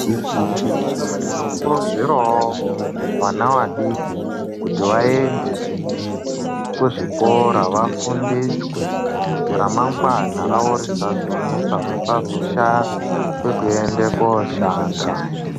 Tinokurudzirawo vana vadiki kuti vaende kuzvikora vafundiswe kuti ramangwana ravo risazonesa vasazoshaya kwekuenda koshanda.